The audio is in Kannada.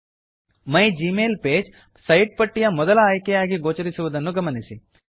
ಮೈಗ್ಮೈಲ್ಪಗೆ ಮೈ ಜಿಮೇಲ್ ಪೇಜ್ ಸೈಟ್ ಪಟ್ಟಿಯ ಮೊದಲ ಆಯ್ಕೆಯಾಗಿ ಗೋಚರಿಸುವುದನ್ನು ಗಮನಿಸಿ